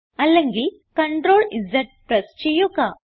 അല്ലെങ്കിൽ CTRLZ press ചെയ്യുക